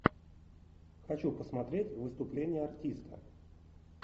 хочу посмотреть выступление артиста